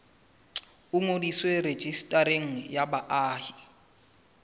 o ngodiswe rejistareng ya baahi